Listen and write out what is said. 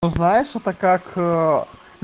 знаешь это как